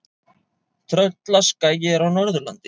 Tröllaskagi er á Norðurlandi.